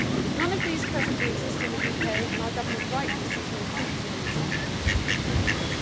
None of these presently exist in the UK and our government rightly sees no fruitful reason ever to introduce them.